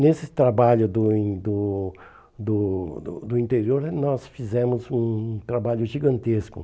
Nesse trabalho do do do do do interior, nós fizemos um trabalho gigantesco.